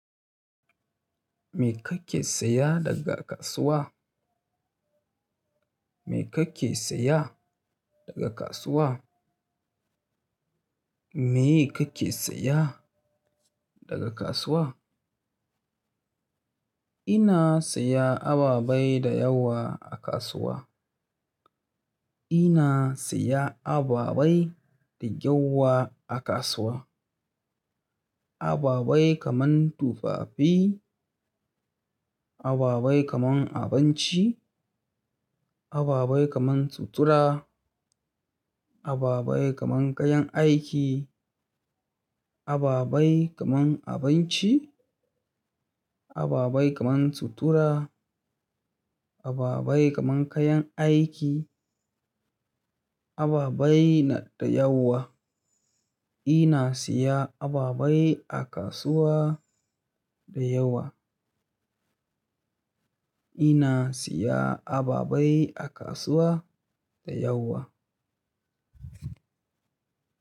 Me kake saya daga kasuwa? Me kake saya daga kasuwa? Me kake saya daga kasuwa? Ina siya ababai da yawa a kasuwa. Ina siya ababai da yawa a kasuwa. Ababai kaman tufafi, aba bai kaman abinci, aba bai kaman sutura, ababai kaman kayan aiki, ababai kaman abinci, ababai kaman sutura, ababai kaman kayan aiki, aba bai na da yawa. Ina siya ababai a kasuwa da yawa. Ina saya ababai a kasuwa da yawa.